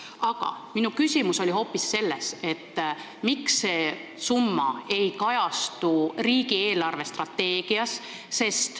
Aga minu küsimus oli hoopis selles, miks see summa ei kajastu riigi eelarvestrateegias.